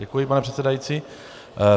Děkuji, pane předsedající.